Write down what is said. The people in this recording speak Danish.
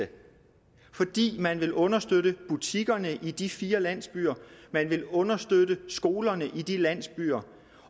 fordi man vil understøtte butikkerne i de fire landsbyer og man vil understøtte skolerne i de landsbyer